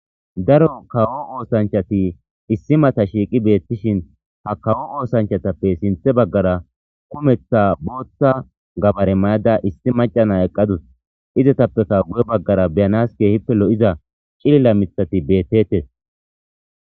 Daro kawo oosanchati issi mata shiiqi beettishin ha kawo oosanchatappe sinthe baggara kumeththa booththa gabare mayada issi macana eqqadus izatappeka gu'e baggara beyanas keehippe lo'iza cililla mithati beettetes.